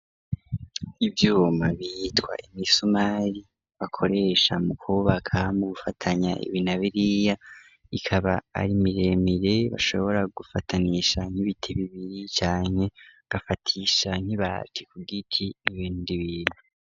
Ivyuma bitwa imisumari, bakoresha mu kwubaka, mu gufatanya ibi na biriya, ikaba ari miremire, bashobora gufatanisha nk'ibiti bibiri, canke gafatisha nk'ibati ku giti, n'ibindi bintu.